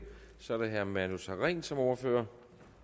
så er det herre manu sareen som ordfører